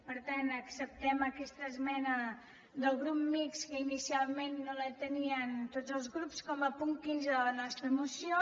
per tant acceptem aquesta esmena del grup mixt que inicialment no la tenien tots els grups com a punt quinze de la nostra moció